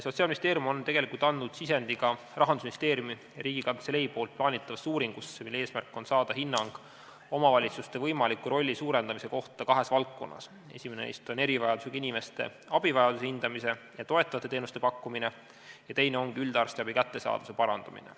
Sotsiaalministeerium on andnud sisendi ka Rahandusministeeriumi ja Riigikantselei plaanitavasse uuringusse, mille eesmärk on saada hinnang omavalitsuste võimaliku rolli suurendamise kohta kahes valdkonnas: esimene on erivajadusega inimeste abivajaduse hindamine ja toetavate teenuste pakkumine ning teine ongi üldarstiabi kättesaadavuse parandamine.